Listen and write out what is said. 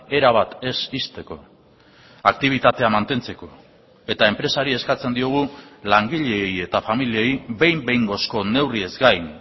erabat ez ixteko aktibitatea mantentzeko eta enpresari eskatzen diogu langileei eta familiei behin behingozko neurriez gain